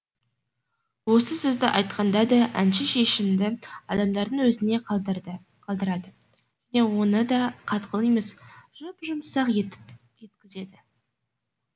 осы сөзді айтқанда да әнші шешімді адамдардың өзіне қалдырады және оны да қатқыл емес жұп жұмсақ етіп жеткізеді